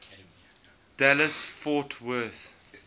dallas fort worth